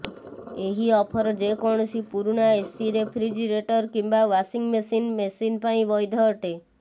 ଏହି ଅଫର ଯେକୌଣସି ପୁରୁଣା ଏସି ରେଫ୍ରିଜେରେଟର କିମ୍ବା ୱାସିଂମେସିନ ମେସିନ ପାଇଁ ବୈଧ ଅଟେ